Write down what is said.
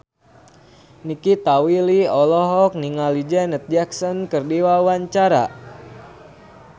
Nikita Willy olohok ningali Janet Jackson keur diwawancara